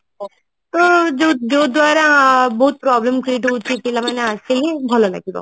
ତ ଯୋଉ ଯୋଉ ଦ୍ଵାରା ବହୁତ problem create ହଉଛି ପିଲାମାନେ ଆସିକି ଭଲ ଲାଗିବ